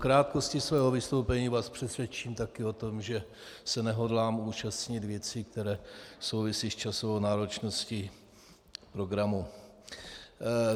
Krátkostí svého vystoupení vás přesvědčím taky o tom, že se nehodlám účastnit věcí, které souvisejí s časovou náročností programu.